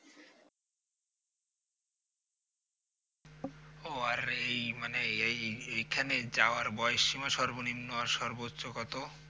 ও আর এই মানে এই এইখানে যাওয়ার বয়স সীমা সর্বনিম্ন আর সর্বোচ্চ কত?